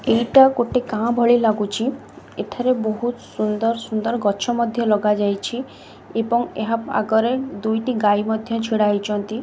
ଏଇଟା ଗୋଟେ ଗାଁ ଭଳି ଲାଗୁଛି ଏଠାର ବହୁତ୍ ସୁନ୍ଦର ସୁନ୍ଦର ଗଛ ମଧ୍ୟ ଲଗାଯାଇଛି ଏବଂ ଏହା ଆଗରେ ଦୁଇଟି ଗାଈ ମଧ୍ୟ ଛିଡ଼ା ହେଇଛନ୍ତି।